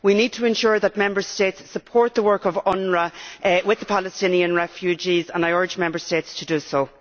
We need to ensure that Member States support the work of UNRWA with the Palestinian refugees and I urge Member States to do so.